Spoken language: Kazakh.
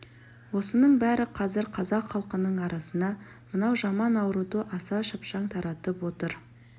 осының бәрі қазір қазақ халқының арасына мынау жаман ауруды аса шапшаң таратып отыр